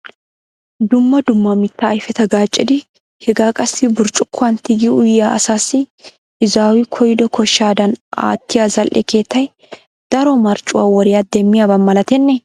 Dumma dumma mitta ayfeta gaaccidi hega qassi burccukuwan tigi uyiya asassi izawu koyido koshshadan aattiya zal"e keettay daro marccuwa woriya demmiyaba malatenne?